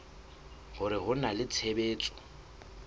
hore ho na le tshebetso